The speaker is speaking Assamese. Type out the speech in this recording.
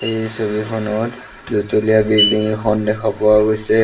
এই ছবিখনত দুতলীয়া বিল্ডিং এখন দেখা পোৱা গৈছে।